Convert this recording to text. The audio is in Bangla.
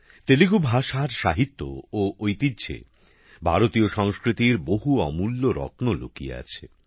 তেলুগু ভাষার সাহিত্য ও ঐতিহ্যে ভারতীয় সংস্কৃতির বহু অমূল্য রত্ন লুকিয়ে আছে